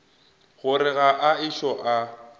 gore ga a ešo a